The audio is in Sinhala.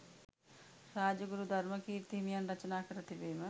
රාජගුරු ධර්මකීර්ති හිමියන් රචනා කර තිබීම